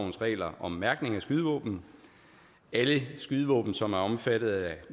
regler om mærkning af skydevåben alle skydevåben som er omfattet af